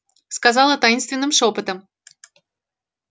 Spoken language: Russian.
сказала таинственным шёпотом